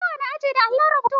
Kowane aji na da allon rubuta.